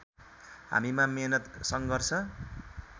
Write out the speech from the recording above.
हामीमा मेहनत सङ्घर्ष